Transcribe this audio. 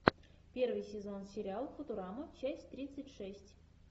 первый сезон сериал футурама часть тридцать шесть